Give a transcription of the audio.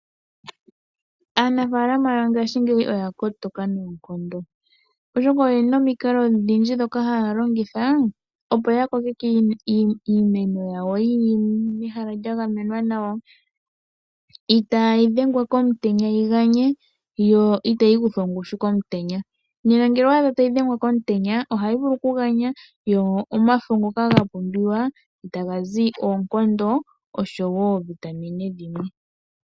Aanafaalama yongashingeyi oya kotoka noonkondo oshoka oyena omikalo ondhindji dhoka haalongitha opo ya kokeke iimeno yawo yili mehala lyagamenwa nawa, itaaa yidhengwa komutenya yiganye yoo otayi kuthwa ongushu komutenya. Nena ngele owa adha tayi dhengwa komutenya ohayi vulu okuganya gomafo ngoka gapumbiwa taga zi oonkondo oshowo oovitamine dhimwe.